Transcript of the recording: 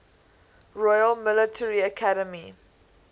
royal military academy